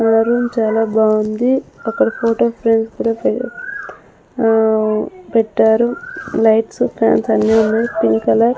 నా రూమ్ చాలా బాగుంది అక్కడ ఫోటో ఫ్రేమ్ కూడా ఆ పెట్టారు లైట్స్ ఫ్యాన్స్ అన్నీ ఉన్నాయ్ పింక్ కలర్ --